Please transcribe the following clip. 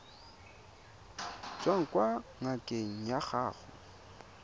tswang kwa ngakeng ya gago